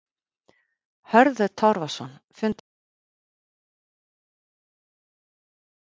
Hörður Torfason, fundarstjóri: Viljum við stjórn Seðlabankans burt?